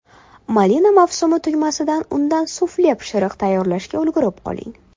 Malina mavsumi tugamasidan undan sufle pishiriq tayyorlashga ulgurib qoling!